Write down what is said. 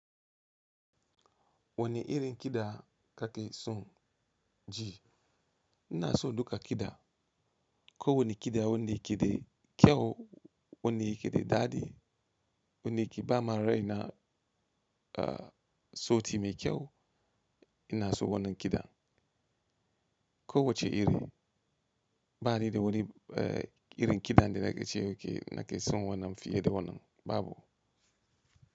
Wani irin kiɗa ka ke soN ji? Ina so duka kiɗa. Ko wani kiɗa wanne yake da kyau, wanne yake da daɗi. Wanne ke ba marai na, sauti mai kyau ina so wannan kiɗan. Ko wacce iri, bani da wani uh, irin kiɗan da na ke ce yake nake son wannan fiye da wannan, babu.